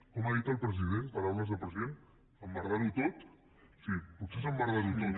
com ho ha dit el president paraules del president emmerdar ho tot sí potser és emmerdar ho tot